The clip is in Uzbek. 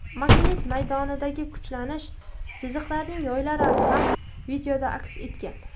Magnit maydonidagi kuchlanish chiziqlarining yoylari ham videoda aks etgan.